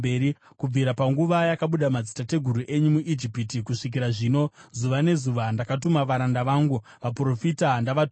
Kubvira panguva yakabuda madzitateguru enyu muIjipiti kusvikira zvino, zuva nezuva, ndakatuma varanda vangu vaprofita ndavatumazve.